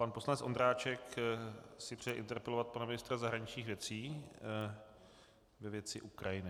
Pan poslanec Ondráček si přeje interpelovat pana ministra zahraničních věcí ve věci Ukrajiny.